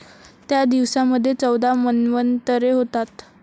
त्या दिवसामध्ये चौदा मन्वंतरे होतात.